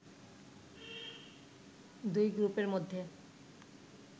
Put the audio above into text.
দুই গ্রুপের মধ্যে